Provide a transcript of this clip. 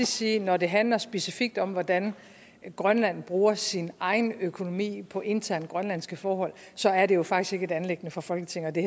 sige at når det handler specifikt om hvordan grønland bruger sin egen økonomi på interne grønlandske forhold så er det jo faktisk ikke et anliggende for folketinget og det